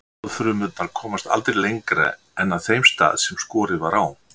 sáðfrumurnar komast aldrei lengra en að þeim stað sem skorið var á